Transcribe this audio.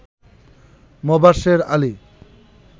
Mobashwer Ali